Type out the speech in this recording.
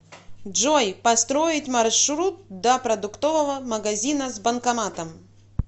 джой построить маршрут до продуктового магазина с банкоматом